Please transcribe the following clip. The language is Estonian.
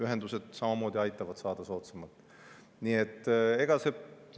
Ühendused samamoodi aitavad saada soodsamalt.